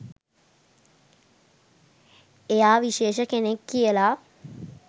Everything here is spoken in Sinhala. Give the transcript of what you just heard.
එයා විශේෂ කෙනෙක් කියලා.